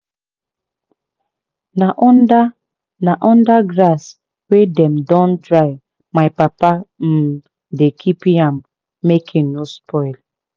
na under na under grass wey dem don dry my papa um dey keep yam make e no spoil.